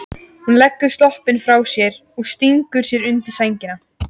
Hún leggur sloppinn frá sér og stingur sér undir sængina.